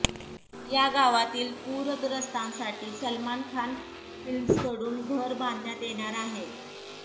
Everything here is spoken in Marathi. या गावातील पूरग्रस्तांसाठी सलमान खान फिल्म्सकडून घरं बांधण्यात येणार आहेत